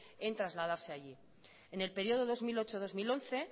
en trasladarse allí en el periodo dos mil ocho dos mil once